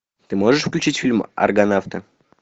ты можешь включить фильм аргонавты